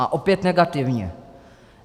A opět negativně.